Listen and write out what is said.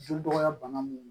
Jeli dɔgɔya bana mun do